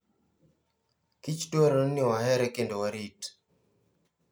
Kich dwarore ni wahere kendo warit.